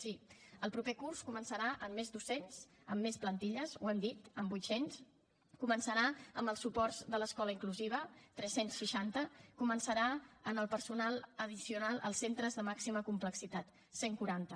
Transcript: sí el proper curs començarà amb més docents amb més plantilla ho hem dit amb vuit cents començarà amb els suports de l’escola inclusiva tres cents i seixanta i començarà amb el personal addicional als centres de màxima complexitat cent i quaranta